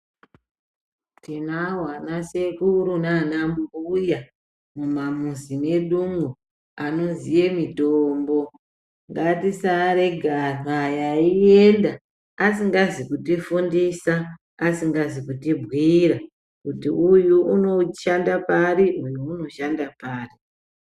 Tinawo anasekuru naanambuya mumamuzi mwedumwo anoziye mitombo. Ngatisaarega anhu aya eienda asingazi kutifundisa, asingazi kutibhuira kuti uyu unoshanda pari uyu unoshanda pari.